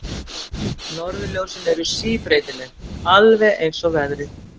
Norðurljósin eru síbreytileg, alveg eins og veðrið.